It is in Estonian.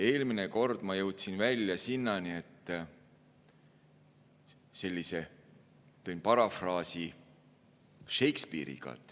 Eelmine kord ma jõudsin välja sinnani, et parafraseerisin Shakespeare'i.